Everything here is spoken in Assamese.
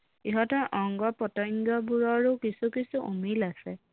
ইহঁতৰ অংগ প্ৰতংগ বোৰৰো কিছু কিছু অমিল আছে